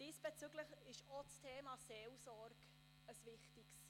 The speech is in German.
Diesbezüglich ist auch das Thema Seelsorge wichtig.